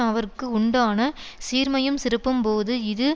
அவர்க்கு உண்டான சீர்மையும் சிறப்பும் போம் இது